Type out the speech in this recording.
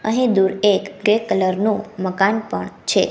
અહીં દૂર એક ગ્રે કલર નું મકાન પણ છે.